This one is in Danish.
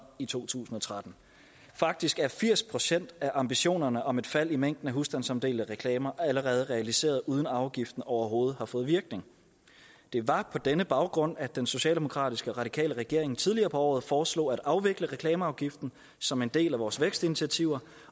i to tusind og tretten faktisk er firs procent af ambitionerne om et fald i mængden af husstandsomdelte reklamer allerede realiseret uden afgiften overhovedet har fået virkning det var på denne baggrund at den socialdemokratiske og radikale regering tidligere på året foreslog at afvikle reklameafgiften som en del af vores vækstinitiativer